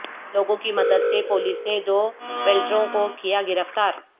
لوگوں کی مد د سے پولیس نے د ولٹیروں کو کیا گرفتار